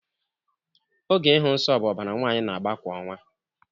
Oge ịhụ nsọ bụ ọbara nwaanyị na-agba kwa ọnwa